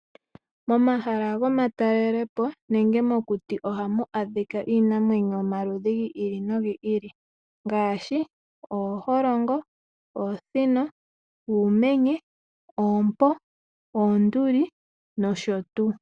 Momahala gomatalelepo nenge mokuti ohamu adhika iinamwenyo yomaludhi gi ili nogi ili ngaashi ooholongo, oosino, uumenye, oompo, oonduli, nosho tuu.